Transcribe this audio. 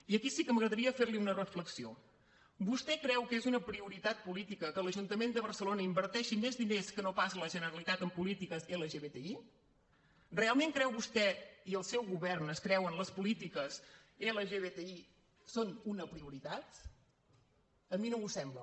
i aquí sí que m’agradaria fer li una reflexió vostè creu que és una prioritat política que l’ajuntament de barcelona inverteixi més diners que no pas la generalitat en polítiques lgtbi realment creu vostè i el seu govern es creuen que les polítiques lgtbi són una prioritat a mi no m’ho sembla